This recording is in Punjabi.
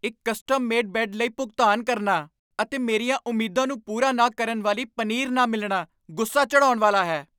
ਇੱਕ ਕਸਟਮ ਮੇਡ ਬੈੱਡ ਲਈ ਭੁਗਤਾਨ ਕਰਨਾ ਅਤੇ ਮੇਰੀਆਂ ਉਮੀਦਾਂ ਨੂੰ ਪੂਰਾ ਨਾ ਕਰਨ ਵਾਲੀ ਪਨੀਰ ਨਾ ਮਿਲਣਾ ਗੁੱਸਾ ਚੜ੍ਹਾਉਣ ਵਾਲਾ ਹੈ